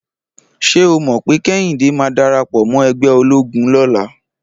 Ṣé o mọ̀ pé Kẹ́hìndé máa darapọ̀ mọ́ ẹgbẹ́ ológun lọ́la?